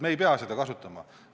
Me ei pea seda kasutama.